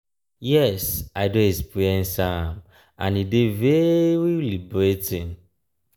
yes i don experience am and e dey very liberating.